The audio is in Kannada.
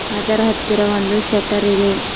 ಅದರ ಹತ್ತಿರ ಒಂದು ಶೇಟೆರ್ ಇದೆ.